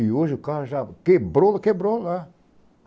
E hoje o carro já quebrou, quebrou lá.